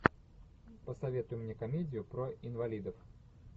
посоветуй мне комедию про инвалидов